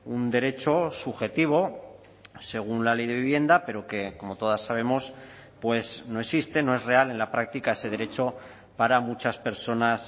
un derecho subjetivo según la ley de vivienda pero que como todas sabemos pues no existen no es real en la práctica ese derecho para muchas personas